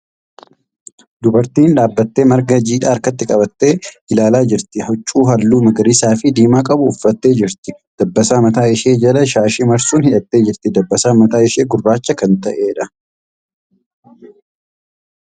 Dubartiin dhaabbattee marga jiiidhaa harkatti qabattee ilaalaa jirti. Huccuu halluu magariisa fi diimaa qabu uffatee jirti. Dabbasaa mataa ishee jala shaashii marsuun hidhattee jirti. Dabbasaan mataa ishee gurraacha kan ta'eedha.